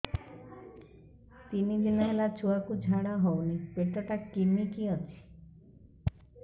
ତିନି ଦିନ ହେଲା ଛୁଆକୁ ଝାଡ଼ା ହଉନି ପେଟ ଟା କିମି କି ଅଛି